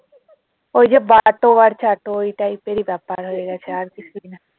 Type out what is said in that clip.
ওই যে বাটো আর চাটো ওই type এর এ ব্যাপার হয়ে গেছে আর কিছুই না